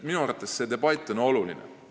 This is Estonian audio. Minu arvates on see debatt oluline.